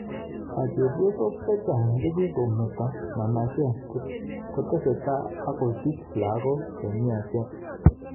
Chepyosok chechang chekikometo manacheet kotesetai akosich lagok chemiachen